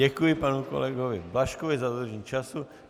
Děkuji panu kolegovi Blažkovi za dodržení času.